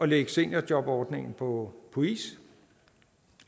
lægge seniorjobordningen på is